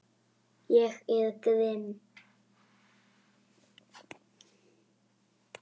Ég er grimm.